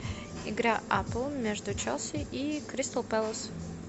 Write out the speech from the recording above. игра апл между челси и кристал пэлас